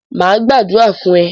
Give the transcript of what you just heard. Mà á gbàdúrà fún ẹ!